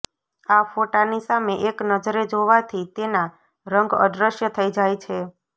આ ફોટોની સામે એક નજરે જોવાથી તેના રંગ અદૃશ્ય થઇ જાય છે